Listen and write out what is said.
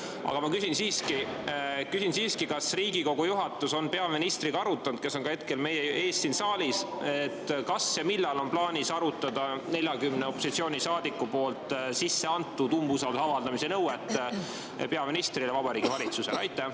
Aga ma küsin siiski: kas Riigikogu juhatus on arutanud peaministriga, kes on ka hetkel meie ees siin saalis, millal on plaanis arutada 40 opositsioonisaadiku poolt sisse antud nõuet avaldada umbusaldust peaministrile ja Vabariigi Valitsusele?